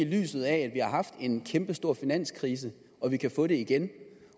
i lyset af at vi har haft en kæmpestor finanskrise og at vi kan få det igen